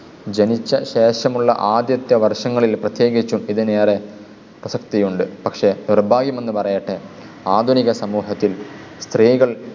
ജനിച്ച ശേഷമുള്ള ആദ്യത്തെ വർഷങ്ങളിൽ പ്രത്യേകിച്ചും ഇതിനു ഏറെ പ്രസക്തിയുണ്ട്. പക്ഷെ നിർഭാഗ്യമെന്നു പറയട്ടെ, ആധുനിക സമൂഹത്തിൽ സ്ത്രീകൾ